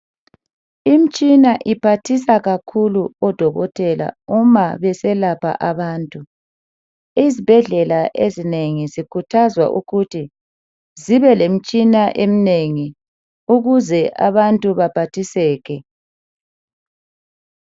Imtshina iphathisa kakhulu odokotela uma beselapha abantu. Izibhedlela eznengi zikhuthazwa ukuthi zibe lemtshina emnengi ukuze abantu baphathiseke.